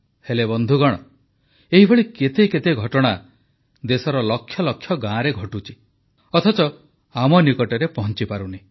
ହେଲେ ବନ୍ଧୁଗଣ ଏହିଭଳି କେତେ କେତେ ଘଟଣା ଦେଶର ଲକ୍ଷ ଲକ୍ଷ ଗାଁରେ ଘଟୁଛି ଅଥଚ ଆମ ନିକଟରେ ପହଂଚିପାରୁନି